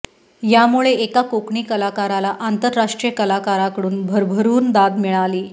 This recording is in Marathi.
यामुळे एका कोकणी कलाकाराला आंतरराष्ट्रीय कलाकाराकडून भरभरून दाद मिळाली